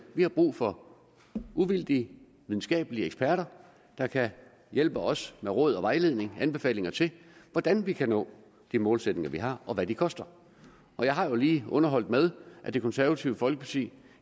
vi har brug for uvildige videnskabelige eksperter der kan hjælpe os med råd og vejledning og anbefalinger til hvordan vi kan nå de målsætninger vi har og hvad de koster jeg har jo lige underholdt med at det konservative folkeparti